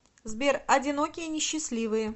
сбер одинокие несчастливые